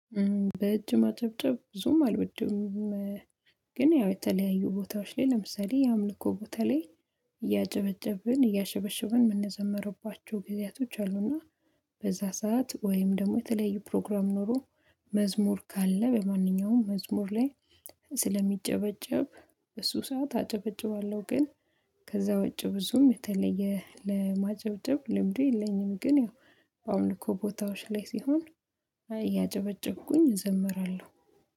በእጅ ማጨብጨብ ብዙም አልወድም። ግን ያው የተለያዩ ቦታዎች ላይ ለምሳሌ የአምልኮ ቦታ ላይ እያጨበጨብን እያሸበሸብን የምንዘመርባቸው ጊዜያቶች አሉና። በዛ ሰዓት ወይም ደግሞ የተለያዩ ፕሮግራም ኖሮ መዝሙር ካለ በማንኛውም መዝሙር ላይ ስለሚጨበጨብ እሱ ሰዓት አጨበጭባለሁ። ግን ከዛ ወጪ ብዙም የተለየ ለማጨብጨብ ልምዱ የለኝም። ግን ያው አምልኮ ቦታዎች ላይ ሲሆን እያጨበጨብኩኝ እዘምራለሁ